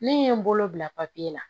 Ne ye n bolo bila papiye la